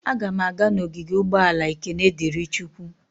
Aga m aga n'ogige ụgbọala Ekene Diri Chukwu.